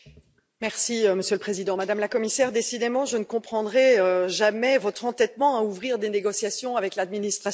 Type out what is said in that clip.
Monsieur le Président, Madame la Commissaire, décidément je ne comprendrai jamais votre entêtement à ouvrir des négociations avec l'administration Trump.